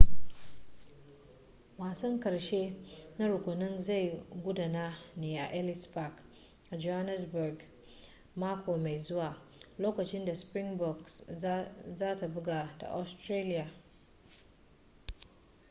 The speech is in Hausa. wasan karshe na rukunin zai gudana ne a ellis park a johannesburg mako mai zuwa lokacin da springboks za ta buga da australia